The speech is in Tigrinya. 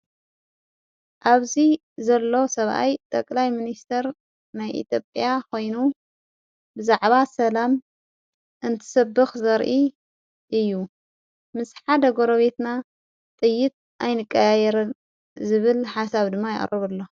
ኣብዙይ ዘሎ ሰብኣይ ጠቕላይ ምንስተር ናይ ኤጴኣ ኾይኑ ብዛዕባ ሰላም እንትሰብኽ ዘርኢ እዩ ምስሓ ደጐሮቤትና ጥይት ኣይንቃያየረን ዝብል ሓሳብ ድማ የዕረቡ ኣሎ::